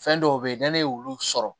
Fɛn dɔw be ye ni ne y'olu sɔrɔ